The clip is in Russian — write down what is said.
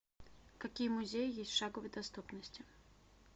какие музеи есть в шаговой доступности